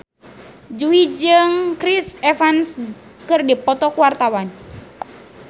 Jui jeung Chris Evans keur dipoto ku wartawan